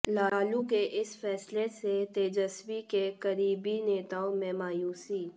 लालू के इस फैसले से तेजस्वी के करीबी नेताओं में मायूसी